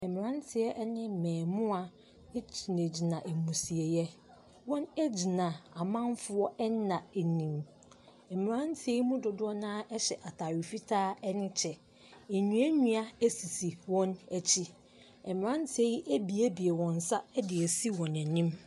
Mmeranteɛ ne mmaamua gyinagyina ammusieeɛ. Wɔgyinagyina amanfoɔ nna anim. Mmeranteɛ yi mu dodoɔ no ara hyɛ atadeɛ fitaa ne kyɛ. Nnuannua sisi wɔn akyi. Mmeranteɛ yi abuebue wɔn nsa de asi wɔn anim.